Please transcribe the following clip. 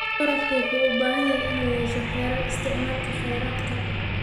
Waraabka wuxuu u baahan yahay inuu yeesho xeerar isticmaalka kheyraadka.